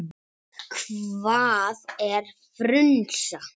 Hvað er frunsa?